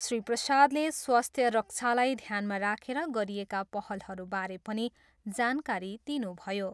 श्री प्रसादले स्वास्थ्य रक्षालाई ध्यानमा राखेर गरिएका पहलहरूबारे पनि जानकारी दिनुभयो।